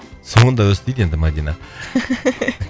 соңында өстеді енді мадина